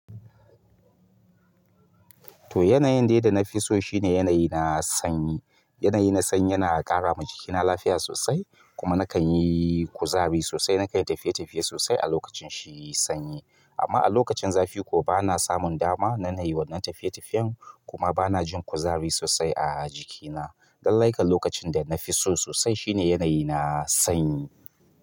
To, yanayin daida na fi so shine yanayi na sanyi. Yanayi na sanyi yana ƙara ma jikina lafiya sosai kuma nakan yi kuzari sosai. Nakan yi tafiye-tafiye sosai a lokacin shi sanyi. Amma a lokacin zafi kowa bana samun dama na yi wannan tafiye-tafiyen kuma bana jin kuzari sosai a jikina. Lallai kan lokacin da na fi so sosai shine yanayi na sanyi.